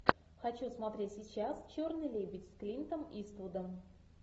хочу смотреть сейчас черный лебедь с клинтом иствудом